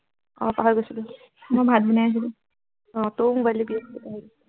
আহ পাহৰি গৈছিলো, মই ভাত বনাই আছিলো, আহ তইয়ো mobile টিপি আছিলি বাহিৰত